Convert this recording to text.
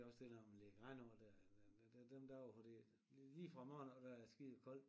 Det er også det når man lægger gran over der eller dem dem dage hvor det lige fra morgen af da er det skide koldt